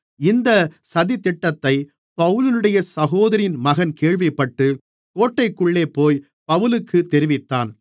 இந்த சதித்திட்டத்தை பவுலினுடைய சகோதரியின் மகன் கேள்விப்பட்டு கோட்டைக்குள்ளேபோய் பவுலுக்குத் தெரிவித்தான்